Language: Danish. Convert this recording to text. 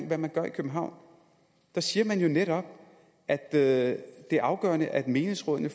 hvad man gør i københavn der siger man jo netop at det er afgørende at menighedsrådene